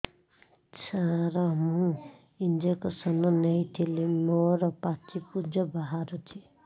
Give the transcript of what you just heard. ସାର ମୁଁ ଇଂଜେକସନ ନେଇଥିଲି ମୋରୋ ପାଚି ପୂଜ ବାହାରୁଚି